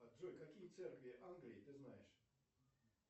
джой какие церкви англии ты знаешь